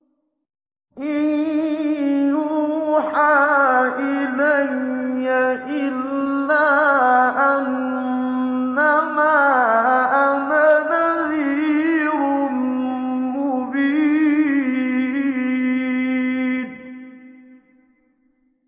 إِن يُوحَىٰ إِلَيَّ إِلَّا أَنَّمَا أَنَا نَذِيرٌ مُّبِينٌ